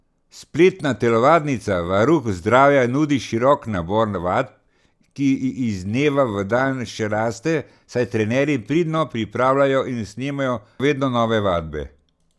Spletna telovadnica Varuh zdravja nudi širok nabor vadb, ki iz dneva v dan še raste, saj trenerji pridno pripravljajo in snemajo vedno nove vadbe.